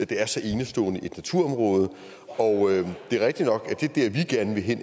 det er så enestående et naturområde og det er rigtigt nok